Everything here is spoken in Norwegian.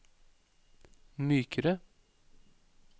mykere